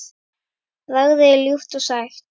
Bragðið er ljúft og sætt.